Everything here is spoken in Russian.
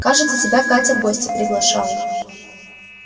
кажется тебя катя в гости приглашала